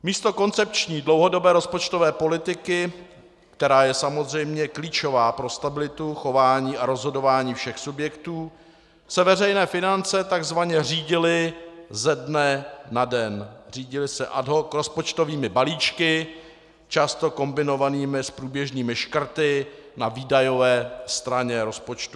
Místo koncepční dlouhodobé rozpočtové politiky, která je samozřejmě klíčová pro stabilitu, chování a rozhodování všech subjektů, se veřejné finance takzvaně řídily ze dne na den, řídily se ad hoc rozpočtovými balíčky, často kombinovanými s průběžnými škrty na výdajové straně rozpočtu.